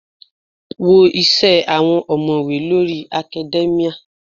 Wo isẹ àwọn omowe lórí academia.